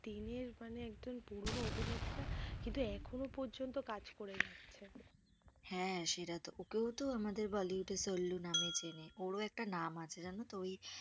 দিনের, মানে একদম পুরোনো অভিনেতা। কিন্তু এখনো পর্যন্ত কাজ করে যাচ্ছে হ্যাঁ সেটা তো, ওকেও তো আমাদের bollywood এর সল্লু নামে চেনে। ওরও একটা নাম আছে জানতো। ওই